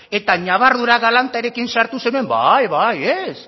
eta ñabardura galantarekin sartu zenean bai bai